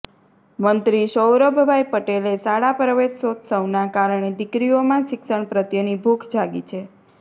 મંત્રી સૌરભભાઇ પટેલે શાળા પ્રવેશોત્સવના કારણે દીકરીઓમાં શિક્ષણ પ્રત્યેની ભૂખ જાગી છે